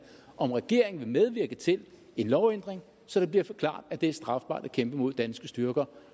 om regeringen vil medvirke til en lovændring så det bliver klart at det er strafbart at kæmpe mod danske styrker